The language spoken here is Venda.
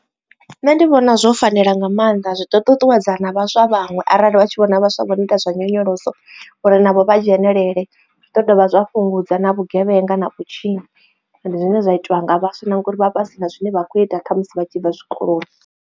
Nṋe ndi vhona zwo fanela nga mannḓa zwi ḓo ṱuṱuwedza na vhaswa vhanwe arali vha tshi vhona vhaswa vho no ita zwa nyonyoloso uri navho vha dzhenelele zwiḓo dovha zwa fhungudza na vhugevhenga na vhutshinyi zwine zwa itiwa nga vhaswa na ngori vha vha vha si na zwine vha kho ita khamusi vha tshi bva zwikoloni.